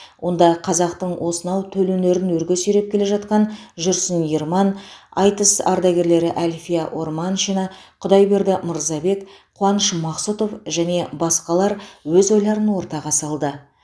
онда қазақтың осынау төл өнерін өрге сүйреп келе жатқан жүрсін ерман айтыс ардагерлері әлфия орманшина құдайберді мырзабек қуаныш мақсұтов және басқалар өз ойларын ортаға салды